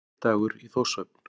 Leikdagur í Þórshöfn.